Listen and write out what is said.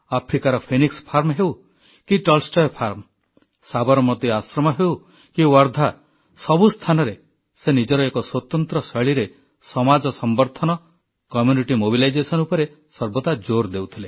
ଆଫ୍ରିକାର Phoenix farm ହେଉ କି ଟଲଷ୍ଟୟ ଫାର୍ମ ସାବରମତି ଆଶ୍ରମ ହେଉ କି ୱାର୍ଦ୍ଧା ସବୁ ସ୍ଥାନରେ ସେ ନିଜର ଏକ ସ୍ୱତନ୍ତ୍ର ଶୈଳୀରେ ସମାଜ ସମ୍ବର୍ଦ୍ଧନ କମ୍ୟୁନିଟି ମୋବିଲାଇଜେସନ୍ ଉପରେ ସର୍ବଦା ଜୋର୍ ଦେଉଥିଲେ